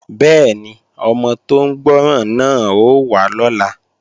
Bẹ́ẹ̀ni, ọmọ tó ń gbọ́ràn náà ó wá lọ́la